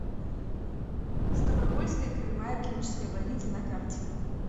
ставропольская краевая клиническая больница на карте